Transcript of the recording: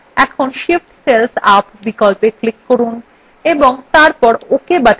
এখন shift cells up বিকল্পে click করুন এবং তারপর ok button click করুন